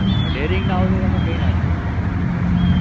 daring ના હોય તો તમે કઈ ના કરી શકો એમાં તમે